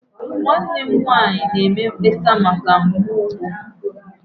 Nwanne m nwanyị na-eme mkpesa maka mgbu ụkwụ.